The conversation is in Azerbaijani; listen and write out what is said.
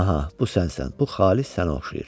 Aha, bu sənsən, bu xalis sənə oxşayır.